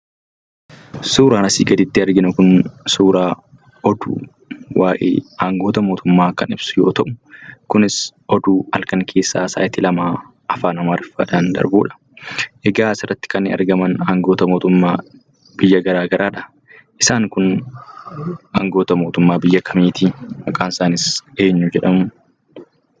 Suuraan asii gaditti arginu kun, suuraa oduu waa'ee angoota mootummaa kan ibsu yoo ta'u, kunis oduu halkan keessaa sa'aatii lamaa Afaan Amariiffaadhaan darbuudha. Egaa asirratti kan argaman Aanga'oota mootummaa biyya garaagaraadha. Isaan kun angoota mootumma biyya kamiitii? Maqaan isaaniis eenyu jedhamuu?